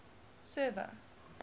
server